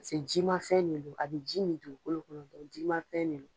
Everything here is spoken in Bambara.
jimafɛn de don a bɛ ji min dugukolo kɔrɔ jimafɛn de don.